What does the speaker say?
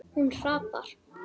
Hún hrapar.